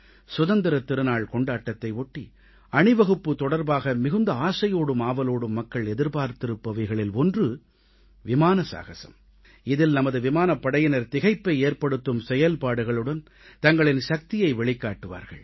சுதந்திரத் திருநாள் கொண்டாட்டத்தை ஒட்டி அணிவகுப்பு தொடர்பாக மிகுந்த ஆசையோடும் ஆவலோடும் மக்கள் எதிர்பார்த்திருப்பவைகளில் ஒன்று விமான சாகஸம் இதில் நமது விமானப்படையினர் திகைப்பை ஏற்படுத்தும் செயல்பாடுகளுடன் தங்களின் சக்தியை வெளிக்காட்டுவார்கள்